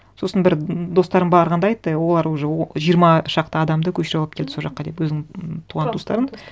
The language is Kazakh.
сосын бір достарым барғанда айтты олар уже жиырма шақты адамды көшіріп алып келді сол жаққа деп өзінің туған туыстарын